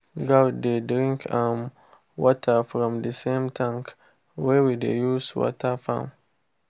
goat dey drink um water from the same tank wey we dey use water farm.